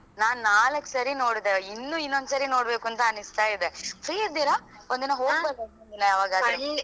ನಾನ್ ನಾಲಕ್ಕು ಸರಿ ನೋಡ್ದೆ ಇನ್ನು ಇನ್ನೊಂದ್ ಸರಿ ನೋಡ್ಬೇಕೂಂತ ಅನಿಸ್ತದೆ free ಇದ್ದೀರಾ? ಒಂದ್ ದಿನ ಹೋಗ್ಬರುಣ ಒಂದು ದಿನ ಯಾವಾಗಾದ್ರೂ?